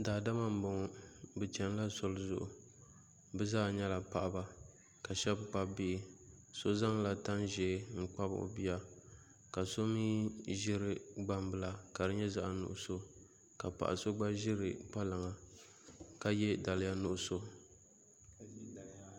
Daadama n boŋo bi chɛnila zoli zuɣu bi zaa nyɛla paɣaba ka shab kpabi bihi si zaŋla tani ʒiɛ n kpabi o bia ka so mii ʒiri gbambila ka di nyɛ zaɣ nuɣso ka paɣa so mii ƶiri kpalaŋa ka yɛ daliya nuɣso